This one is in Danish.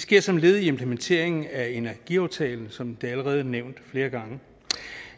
sker som led i implementeringen af energiaftalen som det allerede er nævnt flere gange